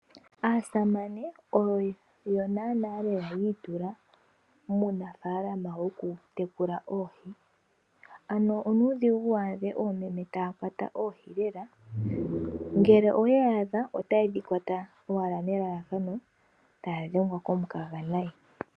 Aasamane oyo naanaa yi itula muunafalama wokutekula oohi. Onuudhigu wu adha oomeme taya kwata oohi lela, ngele owe ya adha otaye dhi kwata nelalakano taya dhengwa komukaga noonkondo.